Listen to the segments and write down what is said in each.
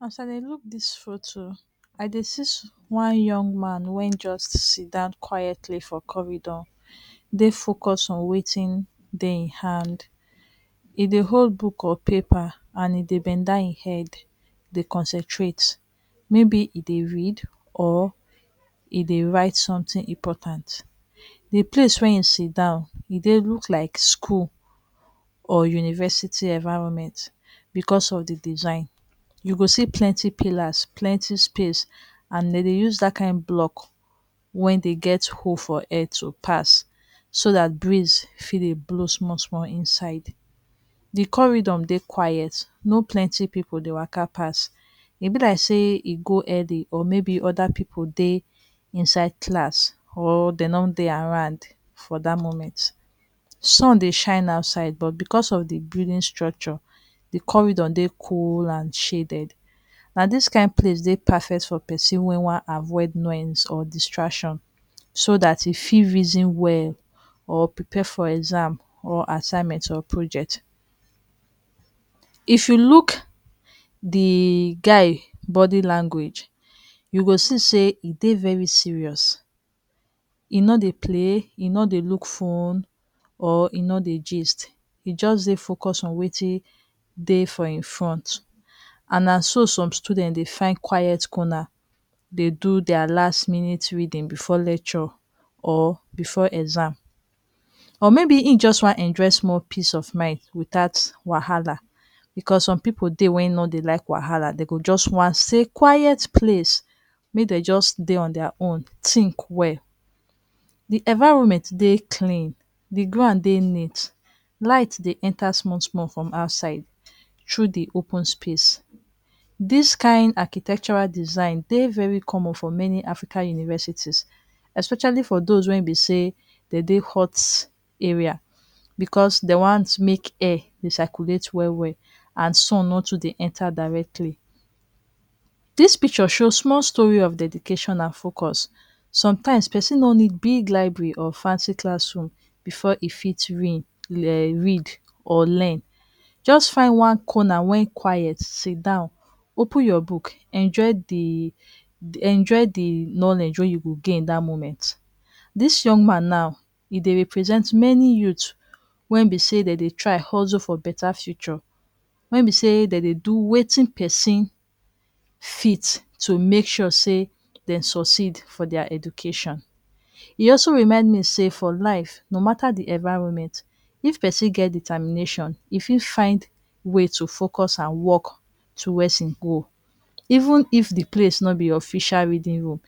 As I dey look dis photo, I dey see one young man wey just sidan quietly for corridor, dey focus on wetin dey im hand. E dey hold book or paper and e dey bend dan e head dey concentrate. Maybe e dey read or e dey write something important. De place wey e sidan e dey look like school or university environment because of de design. You go see plenty pillars, plenty space, and de dey use dat kind block wey dey get hole for air to pass so dat breeze fit dey blow small-small inside. De corridor dey quiet, no plenty pipu dey waka pass. E be like sey e go early or maybe other pipu dey inside class or de no dey around for dat moment. Sun dey shine outside but because of de building structure, de corridor dey cool and shaded. Na dis kind place dey perfect for pesin wey wan avoid noise or distraction, so dat e fit reason well or prepare for exam or assignment or project. If you look de guy body language, you go see sey e dey very serious, e no dey play, e no dey look phone or e no dey gist. E just dey focus on wetin dey for im front. And na so some student dey find quiet corner dey do dia last minute reading before lecture or before exam. Or maybe im just wan enjoy small peace of mind without wahala, because some pipu dey wey no dey like wahala, dem go just wan stay quiet place make dem just dey on dia own, think well. De environment dey clean, de ground dey neat, light dey enter small-small from outside through the open space. Dis kind architectural design dey very common for many African universities especially for those wey e be sey de dey hot area, because dem want make air dey circulate well-well and sun no too dey enter directly. Dis picture show small story of dedication and focus. Sometimes pesin no need big library or fancy classroom before e fit um read or learn. Just find one corner wey quiet sidan, open your book, enjoy de enjoy the knowledge wey you go gain dat moment. Dis young man now, e dey represent many youth wey be sey dem dey try hustle for better future. Wey be sey dem dey do wetin pesin fit to make sure sey dem succeed for dia education E also remind me sey for life, no mata de environment, if pesin get determination, e fit find way to focus and work towards im goal, even if de place no be official reading room,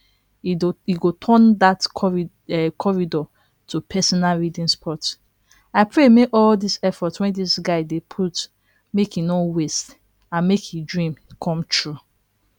e e go turn dat um corridor to personal reading spot. I pray make all dis effort wey dis guy dey put make e no waste and make e dream come true.